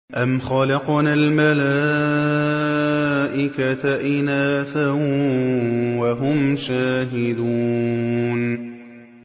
أَمْ خَلَقْنَا الْمَلَائِكَةَ إِنَاثًا وَهُمْ شَاهِدُونَ